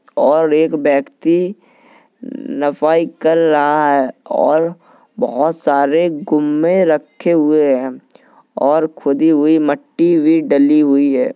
और एक व्यक्ति नफाई कर रहा है और बहुत सारे गुम्मे रखे हुए है और खुदी हुई मट्टी भी डली हुई है।